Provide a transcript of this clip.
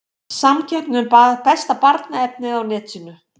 Samkeppni um besta barnaefnið á netinu